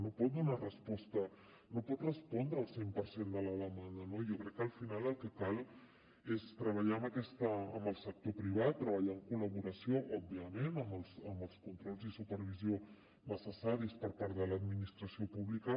no pot donar hi resposta no pot respondre al cent per cent de la demanda no jo crec que al final el que cal és treballar amb el sector privat treballar en collaboració òbviament amb els controls i la supervisió necessaris per part de l’administració pública